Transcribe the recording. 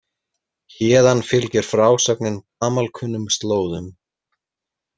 Héðan fylgir frásögnin gamalkunnum slóðum.